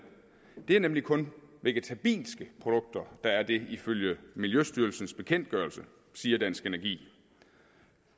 det er nemlig kun vegetabilske produkter der er det ifølge miljøstyrelsens bekendtgørelse siger dansk energi